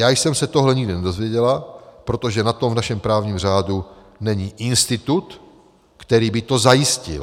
Já jsem se tohle nikdy nedozvěděla, protože na to v našem právním řádu není institut, který by to zajistil.